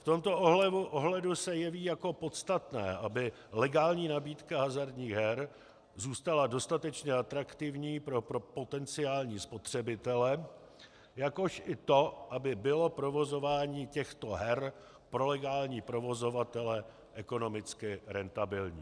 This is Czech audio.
V tomto ohledu se jeví jako podstatné, aby legální nabídka hazardních her zůstala dostatečně atraktivní pro potenciální spotřebitele, jakož i to, aby bylo provozování těchto her pro legální provozovatele ekonomicky rentabilní.